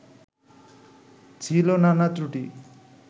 ছিল নানা ত্রুটি